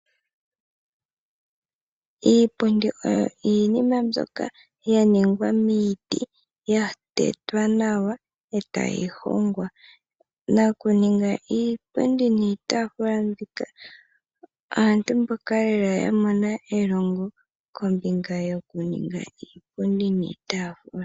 Iipundi oyo iinima mbyoka ya ningwa miiti ya tetwa nawa e tayi hongwa. Nakuninga iipundi niitafula mbika aantu mboka lela ya mona elongo kombinga yokuninga iipundi niitafula.